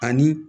Ani